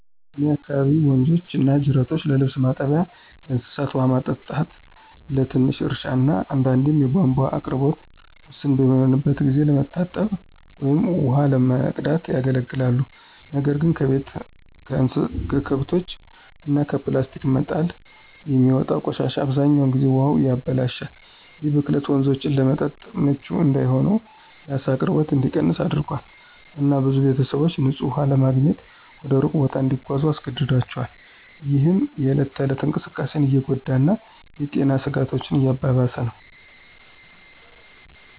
በእኔ አካባቢ ወንዞችና ጅረቶች ለልብስ ማጠቢያ፣ ለእንስሳት ውሃ ማጠጣት፣ ለትንሽ እርሻ እና አንዳንዴም የቧንቧ አቅርቦት ውስን በሚሆንበት ጊዜ ለመታጠብ ወይም ውሃ ለመቅዳት ያገለግላሉ። ነገር ግን ከቤት፣ ከከብቶች እና ከፕላስቲክ መጣል የሚወጣው ቆሻሻ አብዛኛውን ጊዜ ውሃውን ያበላሻል። ይህ ብክለት ወንዞቹን ለመጠጥ ምቹ እንዳይሆን፣ የዓሳ አቅርቦት እንዲቀንስ አድርጓል፣ እና ብዙ ቤተሰቦች ንፁህ ውሃ ለማግኘት ወደ ሩቅ ቦታ እንዲጓዙ አስገድዷቸዋል፣ ይህም የእለት ተእለት እንቅስቃሴን እየጎዳ እና የጤና ስጋቶችን እያባባሰ ነው።